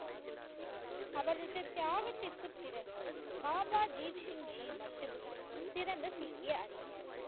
அவர்களது தியாகத்திற்குப் பிறகு பாபா தீப் சிங் ஜி மட்டுமே சிறந்த சீக்கிய அறிஞர்.